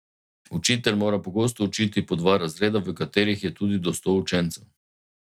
Učitelj mora pogosto učiti po dva razreda, v katerih je tudi do sto učencev.